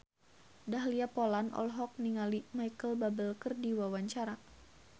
Dahlia Poland olohok ningali Micheal Bubble keur diwawancara